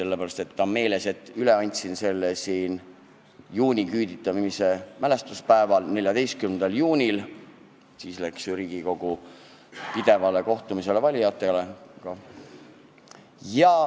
Aga üle andsin selle eelnõu juuniküüditamise mälestuspäeval, 14. juunil, mil Riigikogu läks pidevale kohtumisele valijatega.